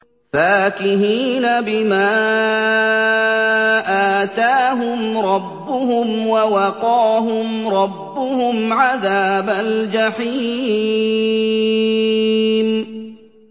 فَاكِهِينَ بِمَا آتَاهُمْ رَبُّهُمْ وَوَقَاهُمْ رَبُّهُمْ عَذَابَ الْجَحِيمِ